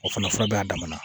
O fana fura bɛ a damana